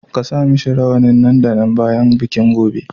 Ka sa mishi rawanin nan da nan bayan bikin gobe.